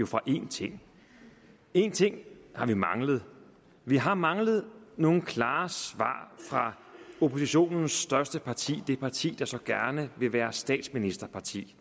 fra én ting én ting har vi manglet vi har manglet nogle klare svar fra oppositionens største parti det parti der så gerne vil være statsministerparti